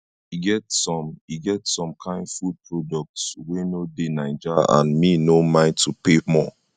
e get some e get some kain food products wey no dey naija and me no mind to pay more